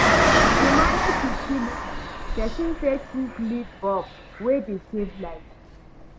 To manage utility, person fit use LED bulb wey dey save light